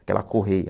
Aquela correia.